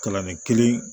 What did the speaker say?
Kalanden kelen